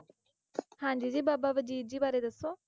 ਹਾਂਜੀ ਜੀ ਬਾਬਾ ਵਜੀਦ ਬਾਰੇ ਦੱਸੋ,